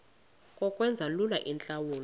ngokwenza lula iintlawulo